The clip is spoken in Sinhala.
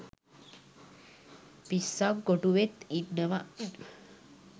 පිස්සං කොටුවෙත් ඉන්නව